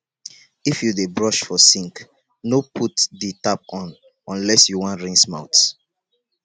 if yu dey brush for sink no put di tap on unless you wan rinse mouth